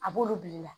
A b'olu bila i la